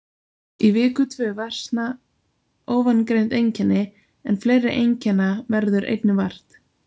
Í viku tvö versna ofangreind einkenni en fleiri einkenna verður einnig vart.